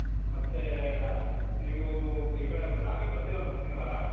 ಮತ್ತೆ ನೀವು ಈ ಕಡೆ ನಾಳೆ ಬರ್ತಿರಲ ಮುಂದಿನ ವಾರ .